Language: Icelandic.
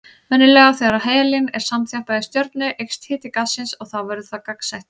Venjulega þegar helín er samþjappað í stjörnu eykst hiti gassins og þá verður það gagnsætt.